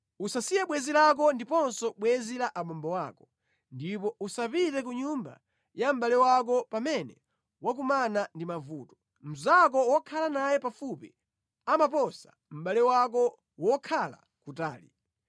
Usasiye bwenzi lako ndiponso bwenzi la abambo ako, ndipo usapite ku nyumba ya mʼbale wako pamene wakumana ndi mavuto; mnzako wokhala naye pafupi amaposa mʼbale wako wokhala kutali.